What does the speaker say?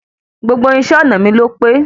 Gbogbo irinṣẹ́ ọnà mi ló pé.